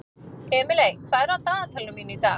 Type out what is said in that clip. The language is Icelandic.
Emely, hvað er á dagatalinu mínu í dag?